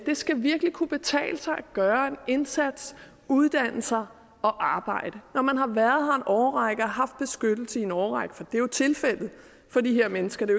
skal virkelig kunne betale sig at gøre en indsats uddanne sig og arbejde når man har været her en årrække og haft beskyttelse i en årrække for det er jo tilfældet for de her mennesker det